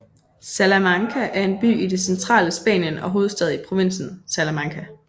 Salamanca er en by i det centrale Spanien og hovedstad i provinsen Salamanca